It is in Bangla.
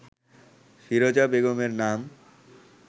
ফিরোজা বেগমের নাম